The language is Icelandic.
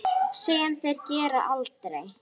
Sem þeir gera aldrei!